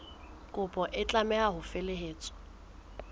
kopo e tlameha ho felehetswa